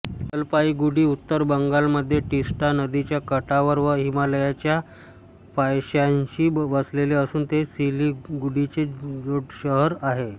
जलपाईगुडी उत्तर बंगालमध्ये टिस्टा नदीच्या काठावर व हिमालयाच्या पायथ्याशी वसले असून ते सिलिगुडीचे जोडशहर आहे